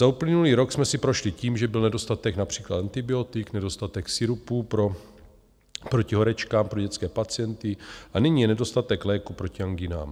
Za uplynulý rok jsme si prošli tím, že byl nedostatek například antibiotik, nedostatek sirupů proti horečkám pro dětské pacienty a nyní je nedostatek léků proti angínám.